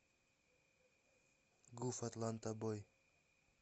гуф атланта бой